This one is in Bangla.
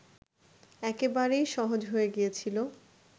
একেবারেই সহজ হয়ে গিয়েছিল